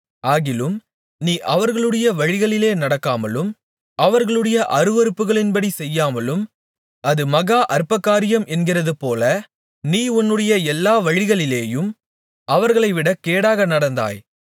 ஆகிலும் நீ அவர்களுடைய வழிகளிலே நடக்காமலும் அவர்களுடைய அருவருப்புகளின்படி செய்யாமலும் அது மகா அற்பகாரியம் என்கிறதுபோல நீ உன்னுடைய எல்லா வழிகளிலேயும் அவர்களைவிட கேடாக நடந்தாய்